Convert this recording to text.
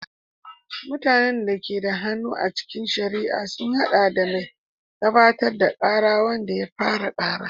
Mutanen da ke da hannu a cikin shari'a sun haɗa da mai gabatar da kara, wanda ya fara kara.